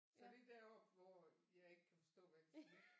Så det er deroppe hvor jeg ikke kan forstå hvad de siger